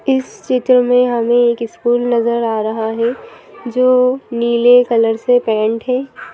इस चित्र में हमें एक स्कूल नजर आ रहा है जो नीले कलर से पेंट है।